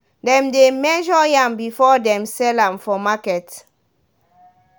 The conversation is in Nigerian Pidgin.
dem dey measure yam before them sell am for market.